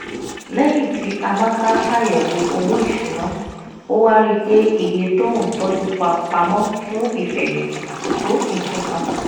lẹ́yìn tí amaka ṣàyẹ̀wò owó ìṣúná ó wá rí i pé iye tó ń tọ́jú pamọ́ fún ìfẹ̀yìntì kò tó nǹkan